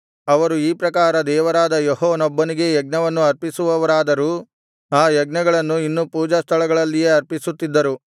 ಅವರು ಈ ಪ್ರಕಾರ ದೇವರಾದ ಯೆಹೋವನೊಬ್ಬನಿಗೇ ಯಜ್ಞವನ್ನು ಅರ್ಪಿಸುವವರಾದರೂ ಆ ಯಜ್ಞಗಳನ್ನೂ ಇನ್ನೂ ಪೂಜಾಸ್ಥಳಗಳಲ್ಲಿಯೇ ಸಮರ್ಪಿಸುತ್ತಿದ್ದರು